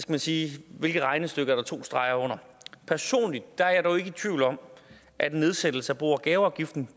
præcis hvilke regnestykker der er to streger under personligt er jeg dog ikke i tvivl om at en nedsættelse af bo og gaveafgiften